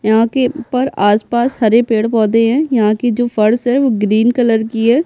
यहाँ के ऊपर आसपास हरे पेड़-पौधे हैं यहाँ की जो फर्स है वो ग्रीन कलर की है।